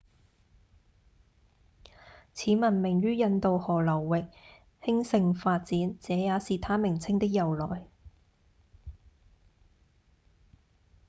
此文明於印度河流域興盛發展這也是它名稱的由來